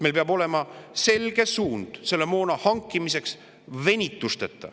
Meil peab olema selge suund moona hankimiseks ja see tuleb hankida venitusteta.